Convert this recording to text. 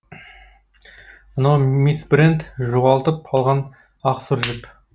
мынау мисс брент жоғалтып алған ақ сұр жіп